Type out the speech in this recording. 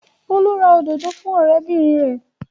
Olú ra òdòdó fún ọ̀rẹ́bìnrin rẹ̀.